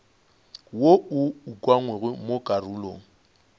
wo o ukangwego mo karolong